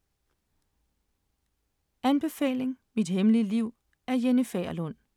Anbefaling: Mit hemmelige liv af Jenny Fagerlund